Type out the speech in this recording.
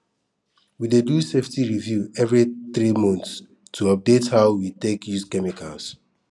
we dey do safety review every three months to update how we take use chemicals